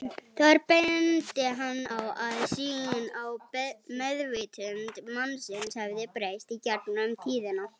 Þar benti hann á að sýn á meðvitund mannsins hefði breyst í gegnum tíðina.